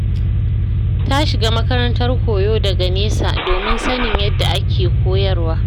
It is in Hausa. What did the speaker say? Ta shiga makarantar koyo daga nesa, domin sanin yadda ake koyarwa.